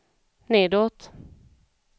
nedåt